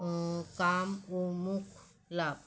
অ কাম ও মুখ লাভ